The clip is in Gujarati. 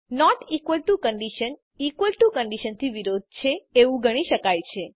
not equal to condition equal to condition થી વિરોધી છે એવું ગણી શકાય છે